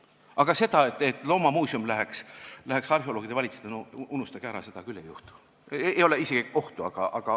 Aga see, et loomamuuseum läheks arheoloogide valitseda, unustage ära, seda küll ei juhtu, selleks ei ole isegi kohta.